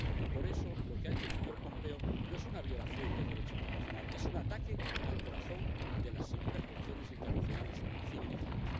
Y, por eso, lo que ha hecho el señor Pompeo no es una violación del Derecho internacional es un ataque al corazón de las simples relaciones internacionales civilizadas.